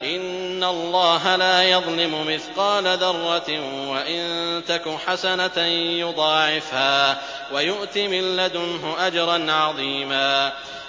إِنَّ اللَّهَ لَا يَظْلِمُ مِثْقَالَ ذَرَّةٍ ۖ وَإِن تَكُ حَسَنَةً يُضَاعِفْهَا وَيُؤْتِ مِن لَّدُنْهُ أَجْرًا عَظِيمًا